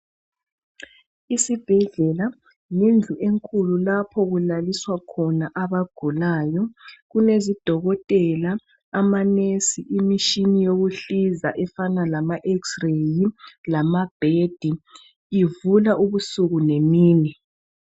Isibhedlela lendlu enkulu lapho okulaliswa khona abagulayo kulezidokotela ama nurse , imishini yokuhlinza efana lama x-ray lama bed , ivula ubusuku lemini